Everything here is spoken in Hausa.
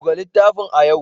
Buga littafin a yau!